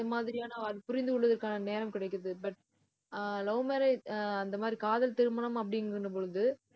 இந்த மாதிரியான, புரிந்து கொள்வதற்கான நேரம் கிடைக்குது. but uh love marriage ah அந்த மாதிரி, காதல் திருமணம் அப்படின்னும் பொழுது,